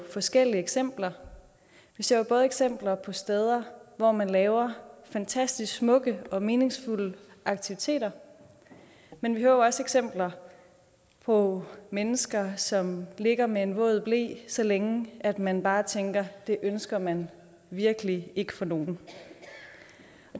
forskellige eksempler vi ser jo både eksempler på steder hvor man laver fantastisk smukke og meningsfulde aktiviteter men vi hører også eksempler på mennesker som ligger med en våd ble så længe at man bare tænker at det ønsker man virkelig ikke for nogen